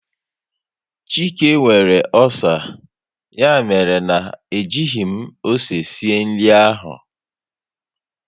Chike nwere ọcer, ya mere na e jighị m ose sie nri ahụ